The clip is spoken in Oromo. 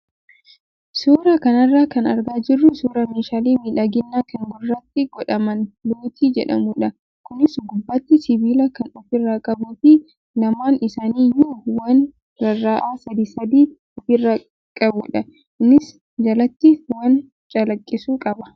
Suuraa kanarraa kan argaa jirru suuraa meeshaalee miidhaginaa kan gurratti godhaman lootii jedhamudha. Kunis gubbaatti sibiila kan ofirraa qabuu fi lamaan isaanii iyyuu waan rarra'an sadii sadii ofirraa qabudha. Innis jalatti waan calaqqisu qaba.